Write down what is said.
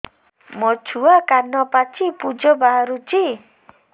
ମୋ ଛୁଆ କାନ ପାଚି ପୂଜ ବାହାରୁଚି